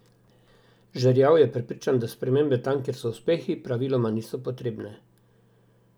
Žerjav je prepričan, da spremembe tam, kjer so uspehi, praviloma niso potrebne.